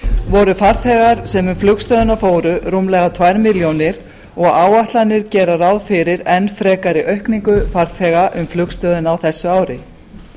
voru farþegar sem um flugstöðina fóru rúmlega tvær milljónir og áætlanir gera ráð fyrir enn frekari aukningu farþega um flugstöðina á þessu ári